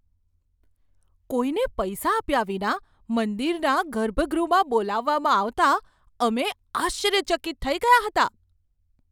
કોઈને પૈસા આપ્યા વિના મંદિરના ગર્ભગૃહમાં બોલાવવામાં આવતા અમે આશ્ચર્યચકિત થઈ ગયા હતા.